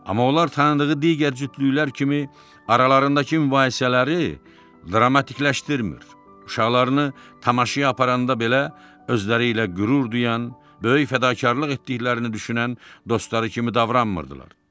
Amma onlar tanıdığı digər cütlüklər kimi aralarındakı mübahisələri dramatikləşdirmir, uşaqlarını tamaşaya aparanda belə özləri ilə qürur duyan, böyük fədakarlıq etdiklərini düşünən dostları kimi davranmırdılar.